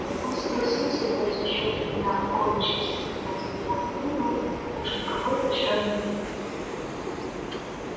он согласился ждать ещё три дня а коли через три дня за него не выду так уж никакой пощады не будет